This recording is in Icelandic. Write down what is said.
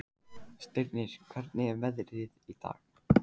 Stirnir, hvernig er veðrið í dag?